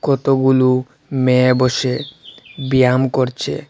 কতগুলো মেয়ে বসে ব্যায়াম করছে।